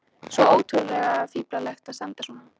Svo ótrúlega fíflalegt að standa svona.